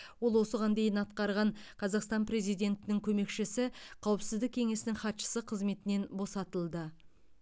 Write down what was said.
ол осыған дейін атқарған қазақстан президентінің көмекшісі қауіпсіздік кеңесінің хатшысы қызметінен босатылды